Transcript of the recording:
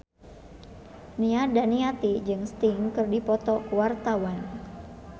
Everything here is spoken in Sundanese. Nia Daniati jeung Sting keur dipoto ku wartawan